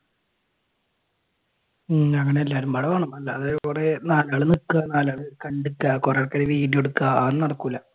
ഉം അങ്ങനെ എല്ലാരും കൂടെ വേണം അല്ലാതെ ഇവിടെ നാലാൾ നിക്കാ നാലാൾ കണ്ടുനിക്കുക കുറെ പേര് വീഡിയോ എടുക്കാ അതൊന്നും നടക്കൂല്ല